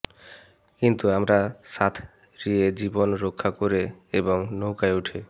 কিন্তু আমরা সাঁতরিয়ে জীবন রক্ষা করে এবং নৌকায় উঠে